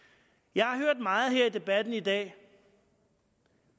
jeg har hørt meget her i debatten i dag